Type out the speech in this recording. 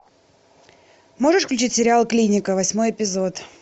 можешь включить сериал клиника восьмой эпизод